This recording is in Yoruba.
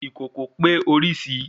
Ìkòkò pé orísìí